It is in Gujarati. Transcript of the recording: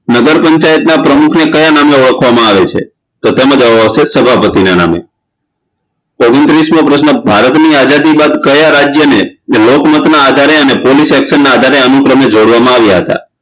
નગરપંચાયતના પ્રમુખને કયા નામે ઓળખવામાં આવે છે તો કે સભાપતીના નામ ઓગણત્રીસમો પ્રશ્ન ભારતની આજાદી બાદ કયા રાજયને લોકમતના આધારે અને police action ના આધારે અનુક્રમે જોડવામાં આવ્યા હતા